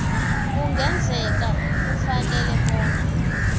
kungenzeka kufuneke bona